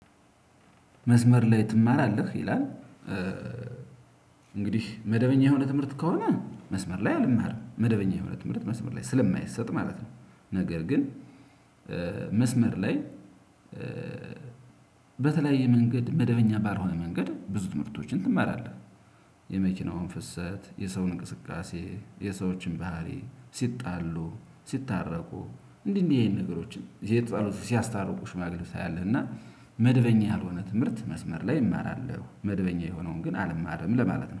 መስመር ላይ ትማራለህ ይላል። እንግዲህ መደበኛ የሆነ ትምህርት ከሆነ መስመር ላይ አልማርም መደበኛ የሆነ ትምህርት መስመር ላይ ስለማይሰጥ ማለት ነው። ነገር ግን መስመር ላይ በተለያየ መንገድ መደበኛ ባልሆነ መንገድ ብዙ ትምህርቶችን ትማራለህ። የመኪናውን ፍሰት የሰውን እንቅስቃሴ የሰዎችን ባህሪ ሲጣሉ ሲታረቁ እንዲህ እንዲህ ይሄን ነገሮችን ለየ ያሉ ሲያስታርቁሽ ሽማግሌውለዎች ታያለህ ና መደበኛ ያልሆነ ትምህርት መስመር ላይ እማራለሁ መደበኛ የሆነውን ግን አልማርም ለማለት ነው